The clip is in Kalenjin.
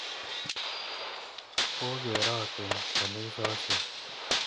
Kokerotin kanisosyek.